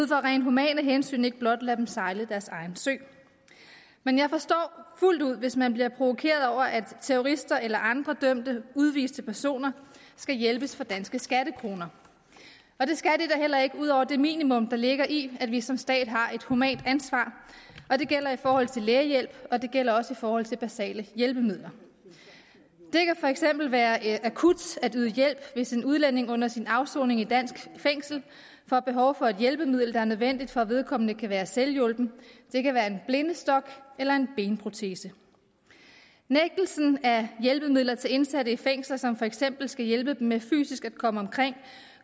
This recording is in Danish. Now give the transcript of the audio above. rent humant hensyn ikke blot lade dem sejle deres egen sø men jeg forstår fuldt ud hvis man bliver provokeret over at terrorister eller andre dømte udviste personer skal hjælpes for danske skattekroner og det skal de da heller ikke ud over det minimum der ligger i at vi som stat har et humant ansvar og det gælder i forhold til lægehjælp og det gælder også i forhold til basale hjælpemidler det kan for eksempel være akut at yde hjælp hvis en udlænding under sin afsoning i et dansk fængsel får behov for et hjælpemiddel der er nødvendigt for at vedkommende kan være selvhjulpen det kan være en blindestok eller en benprotese nægtelse af hjælpemidler til indsatte i fængsler som for eksempel skal hjælpe dem med fysisk at komme omkring